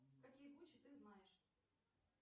какие гучи ты знаешь